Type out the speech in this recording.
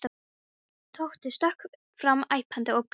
Tóti stökk fram æpandi og gargandi.